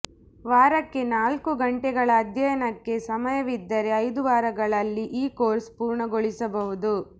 ವಾರಕ್ಕೆ ನಾಲ್ಕು ಗಂಟೆಗಳ ಅಧ್ಯಯನಕ್ಕೆ ಸಮಯವಿದ್ದರೆ ಐದು ವಾರಗಳಲ್ಲಿ ಈ ಕೋರ್ಸ್ ಪೂರ್ಣಗೊಳಿಸಬಹುದು